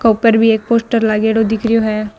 ऊपर भी एक पोस्टर लागेड़ो दिख रेहो है।